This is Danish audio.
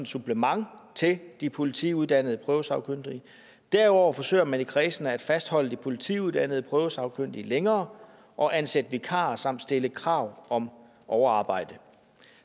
supplement til de politiuddannede prøvesagkyndige derudover forsøger man i kredsene at fastholde de politiuddannede prøvesagkyndige længere og ansætte vikarer samt stille krav om overarbejde